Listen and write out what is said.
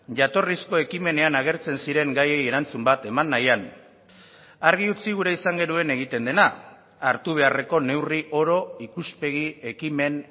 jatorrizko ekimenean agertzen ziren gaiei erantzun bat eman nahian argi utzi gure izan genuen egiten dena hartu beharreko neurri oro ikuspegi ekimen